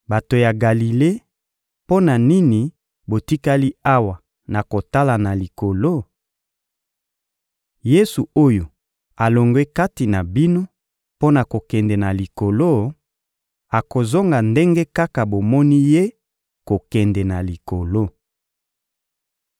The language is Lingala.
— Bato ya Galile, mpo na nini botikali awa na kotala na likolo? Yesu oyo alongwe kati na bino mpo na kokende na Likolo, akozonga ndenge kaka bomoni Ye kokende na Likolo.